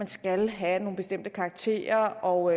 skal have nogle bestemte karakterer og